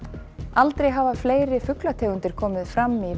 aldrei hafa fleiri fuglategundir komið fram í